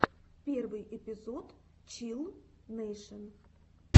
первый эпизод чилл нэйшен